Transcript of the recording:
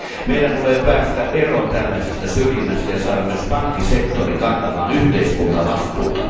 Meidän tulee päästä eroon tällaisesta syrjinnästä ja saada myös pankkisektori kantamaan yhteiskuntavastuuta.